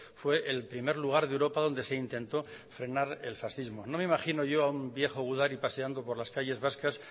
fue el primer lugar de europa donde se intentó frenar el fascismo no me imagino yo a un viejo gudari paseando por las calles vascas